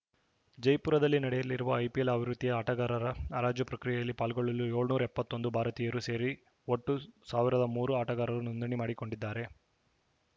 ಜೈಪುರದಲ್ಲಿ ನಡೆಯಲಿರುವ ಐಪಿಎಲ್‌ ಆವೃತ್ತಿಯ ಆಟಗಾರರ ಹರಾಜು ಪ್ರಕ್ರಿಯೆಯಲ್ಲಿ ಪಾಲ್ಗೊಳ್ಳಲು ಏಳುನೂರ ಎಪ್ಪತ್ತೊಂದು ಭಾರತೀಯರು ಸೇರಿ ಒಟ್ಟು ಸಾವಿರದ ಮೂರು ಆಟಗಾರರು ನೋಂದಣಿ ಮಾಡಿಕೊಂಡಿದ್ದಾರೆ